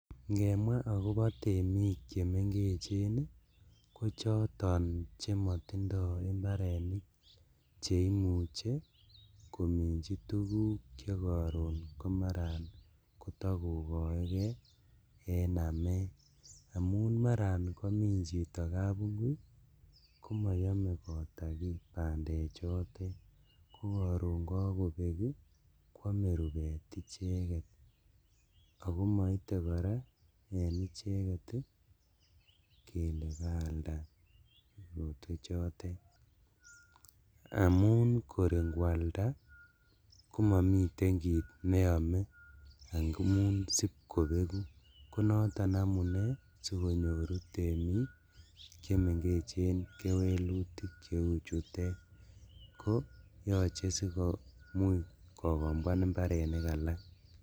Ingemwaa akobo temik chemengech ii kochoton chemotindo imbarenik cheimuche kominji tuguk chemaran kotokokoekee en amet amun maran komin chito kabungui komoyome kotakii bandechotet kokoron kokobek ii kwome rubet icheket, ako moite koraa en icheket kele kaalda korotwechotet amun kor inkwalda komomiten kit neome amun sibkobeku konoton amunee sikonyoru temik chemengech kewelutik cheuchutet ko yoche sikokombwan imbarenik alak.